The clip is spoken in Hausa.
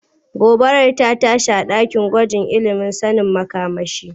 Gobara rta tashi a ɗakin gwajin ilimin sanin makamashi.